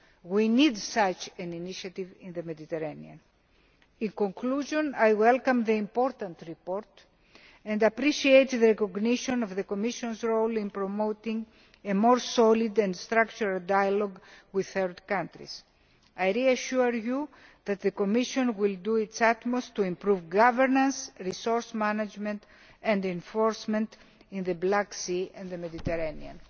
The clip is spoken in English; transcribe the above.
We need such an initiative in the Mediterranean. In conclusion, I welcome this important report and appreciate the recognition of the Commission's role in promoting a more solid and structured dialogue with third countries. I reassure you that the Commission will do its utmost to improve governance, resource management and enforcement in the Black Sea and the Mediterranean.